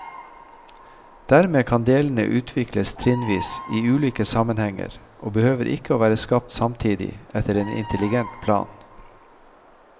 Dermed kan delene utvikles trinnvis i ulike sammenhenger, og behøver ikke å være skapt samtidig etter en intelligent plan.